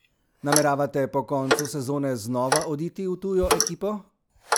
Nameravate po koncu sezone znova oditi v tujo ekipo?